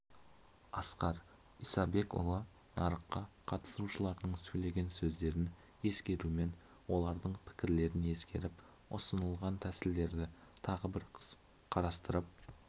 асқар исабекұлы нарыққа қатысушылардың сөйлеген сөздерін ескерумен олардың пікірлерін ескеріп ұсынылған тәсілдерді тағы бір қарастырып